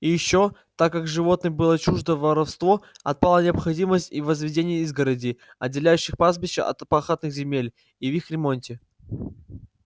и ещё так как животным было чуждо воровство отпала необходимость и в возведении изгородей отделяющих пастбища от пахотных земель и в их ремонте